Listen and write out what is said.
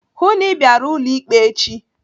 Hụụ na Ị bịara ụlọ ikpe echi!